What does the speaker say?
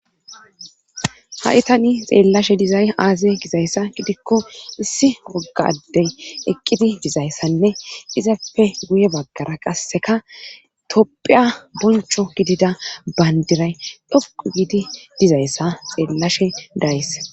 ha7itani xeellashe dizay aaze gizayssa gidikko issi woggadey eqqidi dizayssanne izappe guye baggara qasseka topphiya boncho gidida bayndiray dhoqu gidi dizayssa xeellashe days